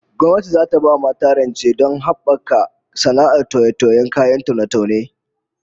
Gwamnati zata ba mata rancevdon habaka sana'ar toye-tiyen kayan taune-taune